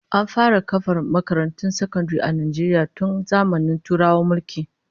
An fara kafa makarantun sakandare a Najeriya tun zamanin Turawan mulki